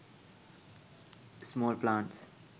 small plants